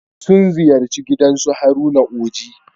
Sun ziyarci garin su Haruna Oji.